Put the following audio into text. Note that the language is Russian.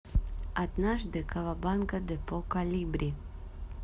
однажды кавабанга депо колибри